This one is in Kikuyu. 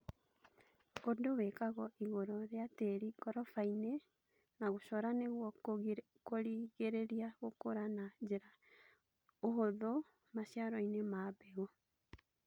ũndũ wĩkagwo igũrũ rĩa tĩri ngoroba-inĩ na gũcora nĩguo kũrigĩrĩria gũkũra na njĩra ya ũhuthũ maciaro manini ma mbegũ